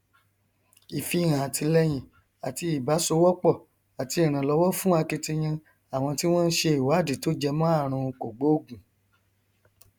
ìfihàn àtìlẹhìn àti ìbásowọpọ àti ìrànlọwọ fún akitiyan àwọn tí wọn nṣe ìwádìí tó jẹmọ àrùn kògbóògùn